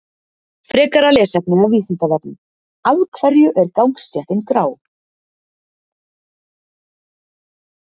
Frekara lesefni af Vísindavefnum: Af hverju er gangstéttin grá?